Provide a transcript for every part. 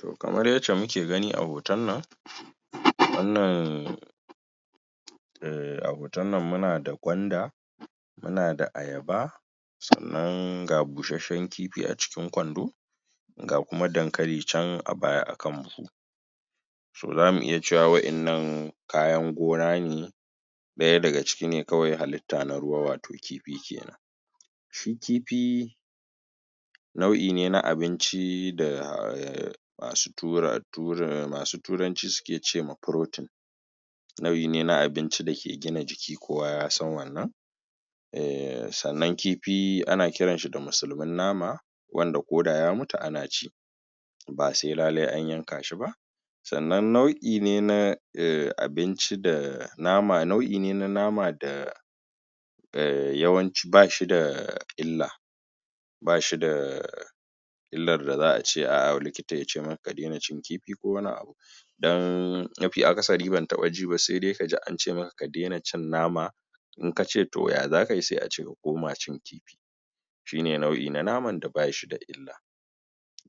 To kamar yacce muke gani a hoton nan a hoton nan muna da gwanda muna da ayaba sannan ga bushenshen kifi a cikin kwando ga kuma dankali can a baya a kan buhu so zamu iya cewa waƴannan kayan gona ne ɗaya ga ciki ne kawai halitta na ruwa, wato kifi kenan shi kifi nau'i ne na abinci da masu tura, masu turanci suke ce ma protein nau'i ne na abinci dake gina jiki kowa ya san wannan eh sannan kifi ana kiran shi da musulmin nama wanda ko da ya mutu ana ci ba se lale an yanka shi ba sannan nau'i ne na abinci da nama, nau'i ne na nama da eh yawanci ba shi da illa ba shi da illar da za'a ce a likita yace maka ka dena cin kifi ko wani abu dan mafi akasari ban taɓa ji ba sai dai kaji an ce maka ka dena cin nama in kace to ya zaka yi sai a ce ka koma cin kifi shine nau'i na naman da ba shi da illa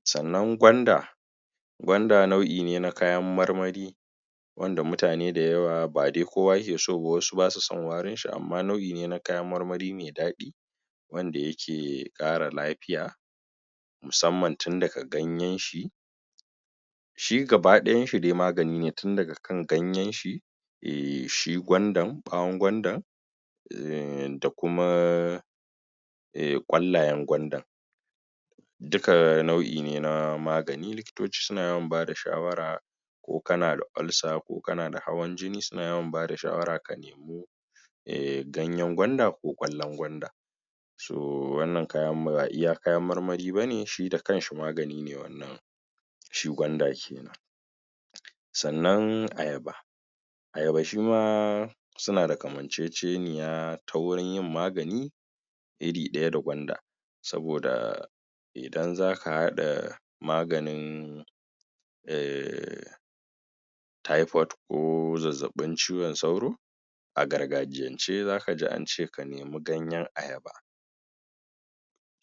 sannan gwanda gwanda nau'i ne na kayan marmari wanda mutane da yawa ba de kowa yake so ba, wasu basu son warin shi amma nau'i ne na kayan marmari me daɗi wanda yake ƙara lafiya musamman tun daga ganyen shi shi gabaɗayan shi de magani ne tun daga kan ganyen shi eh shi gwandan, ɓawon gwandan da kuma eh ƙwallayen gwandan duka nau'i ne na magani likitoci suna yawan bada shawara ko kana da ulcer, ko kana da hawan jini suna yawan bada shawara ka nemo eh ganyen gwanda ko ƙwallon gwanda so wannan kayan ba iya kayan marmari bane shi da kan shi magani ne wannan shi gwanda kenan sannan ayaba ayaba shi ma suna da kamanceceniya ta wurin yin magani iri ɗaya da gwanda saboda idan zaka haɗa maganin eh typhoid ko zazzaɓin cizon sauro a gargajiyance zaka ji an ce ka nemi ganye ayaba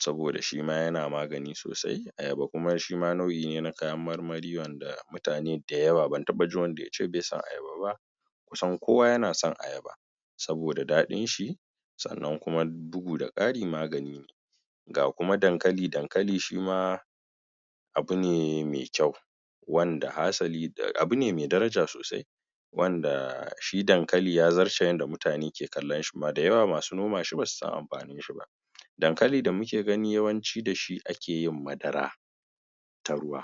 saboda shi ma yana magani sosai, ayaba kuma shi ma nau'i ne na kayan marmari, wanda mutane da yawa ban taɓa jin wanda yace be son ayaba ba kusan kowa yana son ayaba saboda daɗin shi sannan kuma bugu da ƙari magani ne ga kuma dankali, dankali shi ma abu ne me kyau wanda hasali abu ne me daraja sosai wanda shi dankali ya zarce yadda mutane ke kallon shi kuma da yawa masu noma shi basu san amfanin shi ba dankali da muke gani yawanci da shi ake yin madara ta ruwa.